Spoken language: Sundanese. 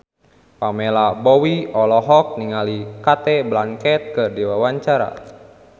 Pamela Bowie olohok ningali Cate Blanchett keur diwawancara